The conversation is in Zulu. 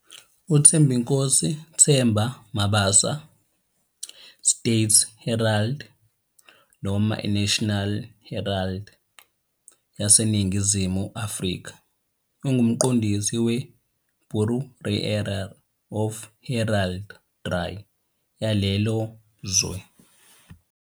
UThembinkosi 'Themba' Mabaso, iState Herald, noma iNational Herald, yaseNingizimu Afrika, ungumqondisi weBureau of Heraldry yalelo zwe.